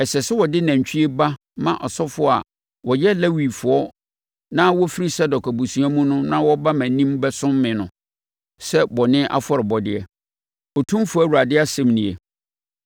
Ɛsɛ sɛ wode nantwie ba ma asɔfoɔ a wɔyɛ Lewifoɔ na wɔfiri Sadok abusua mu na wɔba mʼanim bɛsom me no, sɛ bɔne afɔrebɔdeɛ, Otumfoɔ Awurade asɛm nie.